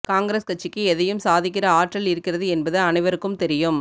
காங்கிரஸ் கட்சிக்கு எதையும் சாதிக்கிற ஆற்றல் இருக்கிறது என்பது அனைவருக்கும் தெரியும்